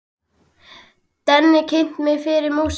Denni kynnti mig fyrir músík.